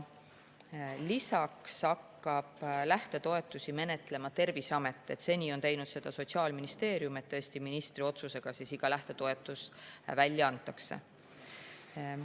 Lisaks hakkab lähtetoetusi menetlema Terviseamet, seni on teinud seda Sotsiaalministeerium, nii et tõesti on iga lähtetoetus antud välja ministri otsusega.